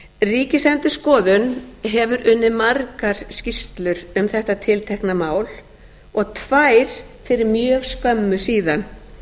ríkisendurskoðun hefur unnið margar skýrslur um þetta tiltekna mál og tvær fyrir mjög skömmu síðan